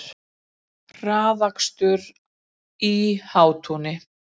Hraðakstur í Hátúni